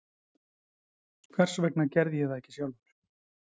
Hvers vegna ég gerði það ekki sjálfur?